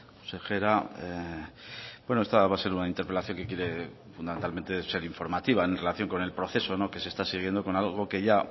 consejera esta va a ser una interpelación que quiere fundamentalmente ser informativa en relación con el proceso que se está siguiendo con algo que ya